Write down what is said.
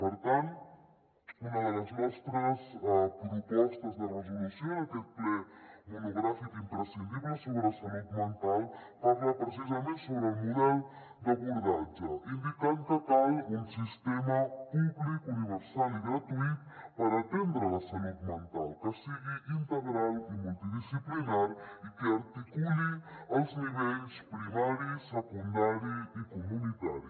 per tant una de les nostres propostes de resolució en aquest ple monogràfic imprescindible sobre salut mental parla precisament sobre el model d’abordatge indicant que cal un sistema públic universal i gratuït per atendre la salut mental que sigui integral i multidisciplinari i que articuli els nivells primari secundari i comunitari